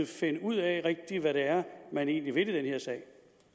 finde ud af hvad det er man egentlig vil i den her sag